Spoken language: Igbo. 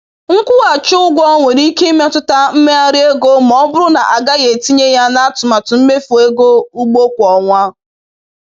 Nkwụghachi ụgwọ nwere ike imetụta mmegharị ego ma ọ bụrụ na a gaghị etinye ya n’atụmatụ mmefu ego ugbo kwa ọnwa.